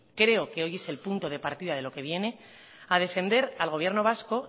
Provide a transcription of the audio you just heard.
creo que hoy es el punto de partida de lo que viene a defender al gobierno vasco